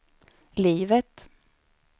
livet